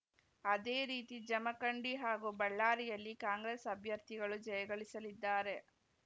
ಅದೇ ರೀತಿ ಜಮಖಂಡಿ ಹಾಗೂ ಬಳ್ಳಾರಿಯಲ್ಲಿ ಕಾಂಗ್ರೆಸ್‌ ಅಭ್ಯರ್ಥಿಗಳು ಜಯಗಳಿಸಲಿದ್ದಾರೆ